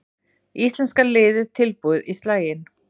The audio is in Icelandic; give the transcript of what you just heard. Íslenska liðið tilbúið í slaginn